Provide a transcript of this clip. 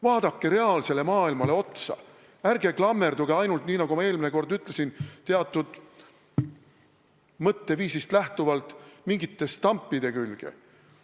Vaadake reaalset maailma, ärge klammerduge ainult, nii nagu ma eelmine kord ütlesin, teatud mõtteviisist lähtuvalt mingite stampide külge!